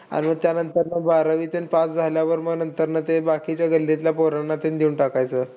आणि त्यानंतर मग बारावीच pass झाल्यावर मग नंतरला ते बाकीच्या गल्लीतल्या पोरांना तेन देऊन टाकायचं.